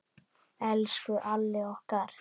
Elsku Alli okkar.